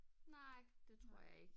Nej det tror jeg ikke